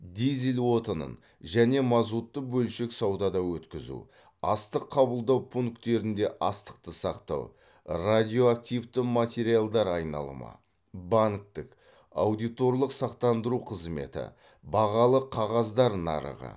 дизель отынын және мазутты бөлшек саудада өткізу астық қабылдау пункттерінде астықты сақтау радиоактивті материалдар айналымы банктік аудиторлық сақтандыру қызметі бағалы қағаздар нарығы